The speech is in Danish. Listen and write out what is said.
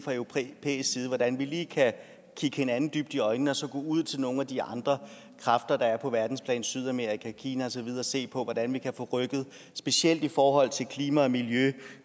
hvordan vi kan kigge hinanden dybt i øjnene og så gå ud til nogle af de andre kræfter der er på verdensplan sydamerika kina og så videre og se på hvordan vi kan få rykket specielt i forhold til klima og miljø